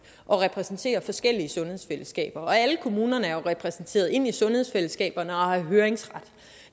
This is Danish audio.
og repræsenterer forskellige sundhedsfællesskaber og alle kommunerne er jo repræsenteret ind i sundhedsfællesskaberne og har høringsret